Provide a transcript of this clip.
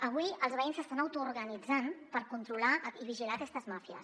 avui els veïns s’estan autoorganitzant per controlar i vigilar aquestes màfies